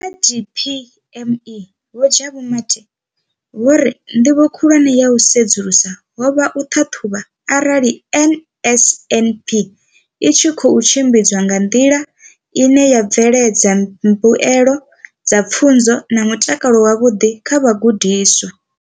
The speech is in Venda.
Kha DPME, Vho Jabu Mathe, vho ri nḓivho khulwane ya u sedzulusa ho vha u ṱhaṱhuvha arali NSNP i tshi khou tshimbidzwa nga nḓila ine ya bveledza mbuelo dza pfunzo na mutakalo wavhuḓi kha vhagudiswa.